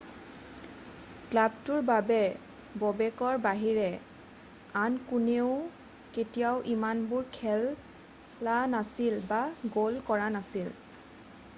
ক্লাবটোৰ বাবে ব'বেকৰ বাহিৰে আন কোনেও কেতিয়াও ইমানবাৰ খেলা নাছিল বা গ'ল কৰা নাছিল